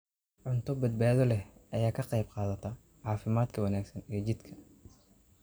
Cunto badbaado leh ayaa ka qayb qaadata caafimaadka wanaagsan ee jidhka.